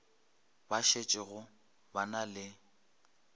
ba šetšego ba na le